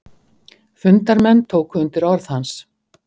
Fundarmenn tóku undir orð hans.